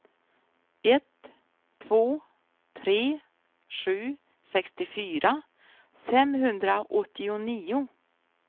ett två tre sju sextiofyra femhundraåttionio